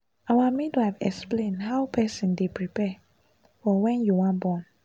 our midwife explain how person dey prepare for when you wan born